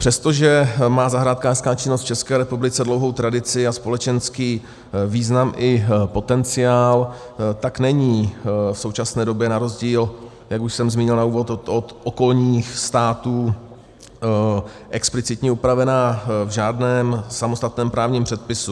Přestože má zahrádkářská činnost v České republice dlouhou tradici a společenský význam i potenciál, tak není v současné době na rozdíl, jak už jsem zmínil na úvod, od okolních států explicitně upravená v žádném samostatném právním předpisu.